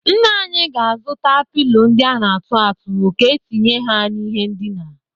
Nna anyị a zụta pịlo ndị a na-atụ atụ ka entinye ha n'ihe ndina.